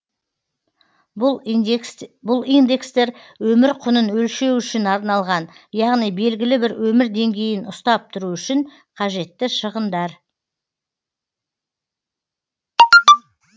бұл индекстер өмір құнын өлшеу үшін арналған яғни белгілі бір өмір деңгейін ұстап тұру үшін қажетті шығындар